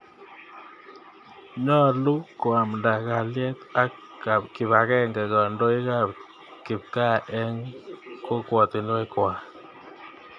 Nyalu koamnda kalyet ak kipakenge kandoik ap kipkaa eng' kokwatinwek kwak.